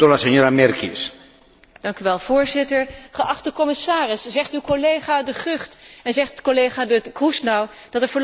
Voorzitter, geachte commissaris, zegt uw collega De Gucht en zegt collega Kroes nou dat er voorlopig geen maatregelen te verwachten zijn?